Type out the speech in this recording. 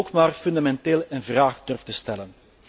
ook maar fundamenteel in vraag durft te stellen.